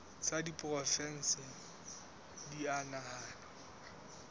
tsa diporofensi di a nahanwa